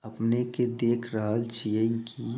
अपने के देख रहल छियेन की---